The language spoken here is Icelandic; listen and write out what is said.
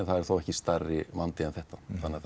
það er ekki stærri vandi en þetta